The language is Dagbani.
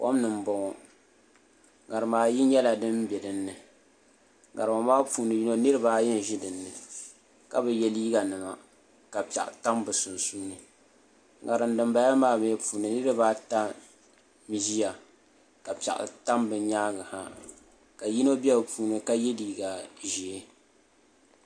Kom ni n boŋo ŋarima ayi nyɛla din bɛ dinni ŋarima maa puuni yini niraba ayi n ʒi dinni ka bi yɛ liiga nima ka piɛɣu tam bi sunsuuni ŋarim dinbala maa mii puuni niraba ata n ʒiya ka piɛɣu tam bi nyaangi ha ka yino bɛ bi puuni ka yɛ liiga ʒiɛ